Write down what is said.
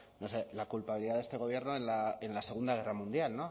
no sé la culpabilidad de este gobierno en la segunda guerra mundial